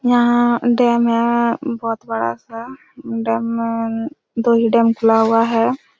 यहाँ डैम है बहुत बड़ा सा डैम में दोही डैम खुला हुआ है।